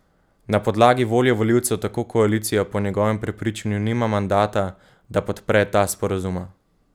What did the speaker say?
Na podlagi volje volivcev tako koalicija po njegovem prepričanju nima mandata, da podpre ta sporazuma.